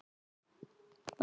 Megi minning Ásgeirs lifa.